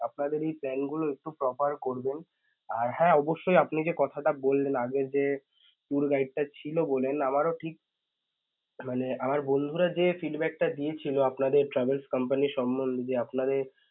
আপনাদের এই plan গুলো একটু proper করবেন আর হ্যাঁ অবশ্যই আপনি যেই কথাটা বললেন আগে যে tour guide ছিল বলেন আমারও ঠিক মানে আমার বন্ধুরা যে feedback টা দিয়েছিল আপনাদের travel company সম্বন্ধে যে আপনাদের